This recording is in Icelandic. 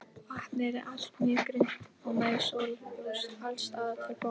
Vatnið er allt mjög grunnt og nær sólarljós alls staðar til botns.